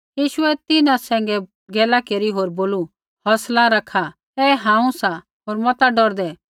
यीशुऐ तिन्हां सैंघै गैला केरी होर बोलू हौंसला रखा ऐ हांऊँ सा होर मता डौरदै